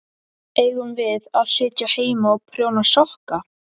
Eigum við að sitja heima og prjóna sokka?